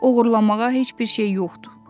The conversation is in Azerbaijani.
Oğurlamağa heç bir şey yoxdur.